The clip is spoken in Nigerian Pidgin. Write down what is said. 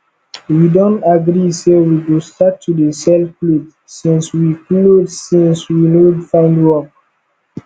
we don agree say we go start to dey sell cloth since we cloth since we no find work